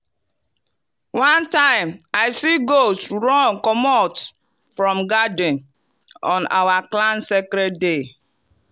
one time i see goat run comot from garden on our clan sacred day.